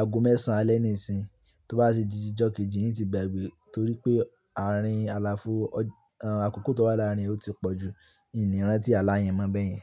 ago mẹ́sàn-án alẹ́ ní-ìsín, tó bá di jíjọ kejì, in ti gbàgbé torí pé àárín àlàáfó ọ akoko tó wà láàrin ò ti pọ̀ ju. In In ran tí ààlà yẹn mọ̀ bẹ́ẹ̀ yẹn.